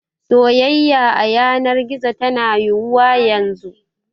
Soyayya a yanar gizo tana yiwuwa yanzu.